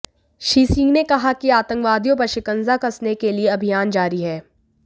श्री सिंह ने कहा कि आतंकवादियों पर शिकंजा कसने के लिए अभियान जारी है